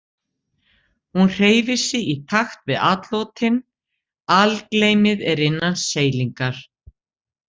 Hún hreyfir sig í takt við atlotin, algleymið er innan seilingar.